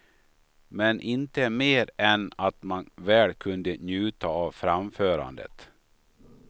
Men inte mer än att man väl kunde njuta av framförandet.